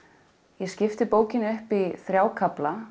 ég skipti bókinni upp í þrjá kafla